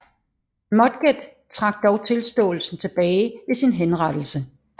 Mudgett trak dog tilståelsen tilbage ved sin henrettelse